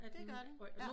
Ja det gør det